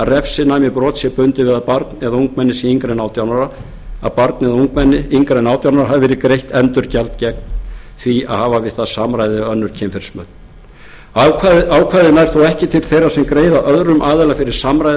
refsinæmi brots sé bundið við að barni eða ungmenni yngra en átján ára hafi verið greitt endurgjald gegn því að hafa við það samræði eða önnur kynferðismök ákvæðið nær þó ekki til þeirra sem greiða öðrum aðila fyrir samræði